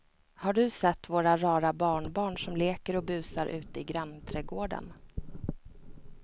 Har du sett våra rara barnbarn som leker och busar ute i grannträdgården!